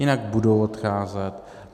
Jinak budou odcházet.